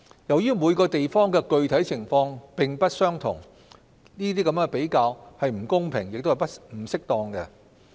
由於每個地方的具體情況並不相同，比較是不公平和不適當的。